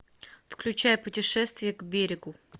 включай путешествие к берегу